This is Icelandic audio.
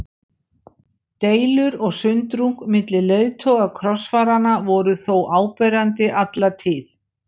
Deilur og sundrung milli leiðtoga krossfaranna voru þó áberandi alla tíð.